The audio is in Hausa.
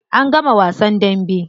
An gama wasan dambe.